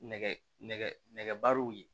Nɛgɛberew ye